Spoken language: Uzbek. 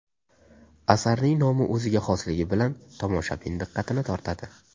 Asarning nomi o‘ziga xosligi bilan tomoshabin diqqatini tortadi.